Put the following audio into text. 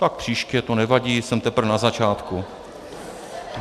Tak příště, to nevadí, jsem teprve na začátku.